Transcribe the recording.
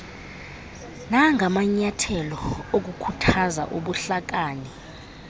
nangamanyathelo okukhuthaza ubuhlakani